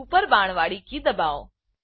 ઉપર બાણવાડી કી દબાવો